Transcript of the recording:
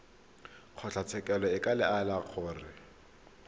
kgotlatshekelo e ka laela gore